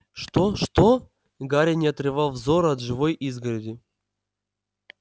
что что гарри не отрывал взора от живой изгороди